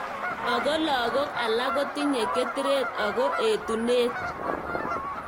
Ako lakok alak kotinye ketret ako etunet.